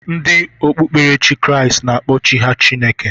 Ndị okpukperechi Kraịst na-akpọ Chi ha Chineke.